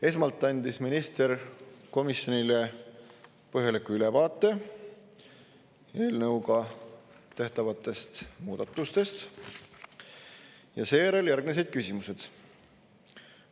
Esmalt andis minister komisjonile põhjaliku ülevaate eelnõuga tehtavatest muudatustest ja seejärel järgnesid küsimused.